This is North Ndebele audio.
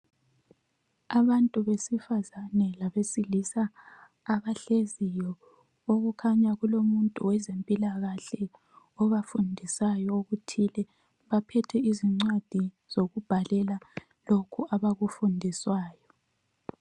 Abantu besifazane labesilisa abahleziyo okukhanya kulomuntu wezempilakahle obafundisayo okuthile .Baphethe izincwadi zokubhalela lokhu abakufundiswayo.